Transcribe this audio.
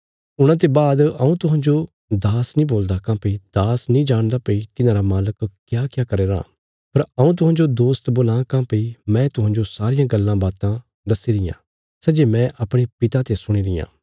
हूणा ते बाद हऊँ तुहांजो दास नीं बोलदा काँह्भई दास नीं जाणदा भई तिन्हांरा मालक क्याक्या करया राँ पर हऊँ तुहांजो दोस्त बोलां काँह्भई मैं तुहांजो सारियां गल्लां बातां दस्सी रियां सै जे मैं अपणे पिता ते सुणी रियां